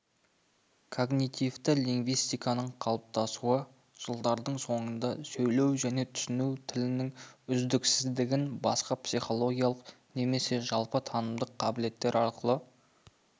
когнитивті лингвистиканың қалыптасуы жылдардың соңында сөйлеу және түсіну тілінің үздіксіздігін басқа психологиялық немесе жалпы танымдық қабілеттер арқылы